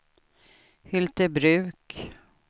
Hyltebruk